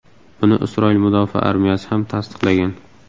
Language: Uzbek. Buni Isroil mudofaa armiyasi ham tasdiqlagan.